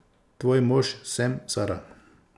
Tvoj mož sem, Sara.